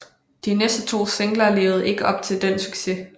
De næste to singler levede ikke op til den succes